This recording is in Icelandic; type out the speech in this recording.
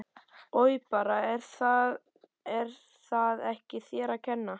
Oj bara en það er ekki þér að kenna